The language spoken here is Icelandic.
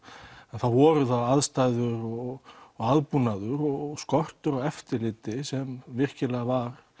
að þá voru það aðstæður og og aðbúnaður og skortur á eftirliti sem virkilega var